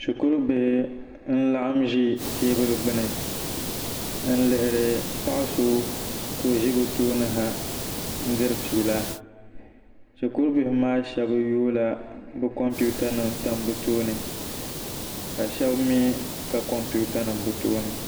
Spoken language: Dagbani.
shikuribihi n-laɣim ʒi teebuli gbuni n-lihiri paɣa so ka o ʒi bɛ tooni ha n-diri fiila shikuribihi shɛba yoola bɛ kɔmputanima tam bɛ tooni ka shɛba mi ka kɔmputanima bɛ tooni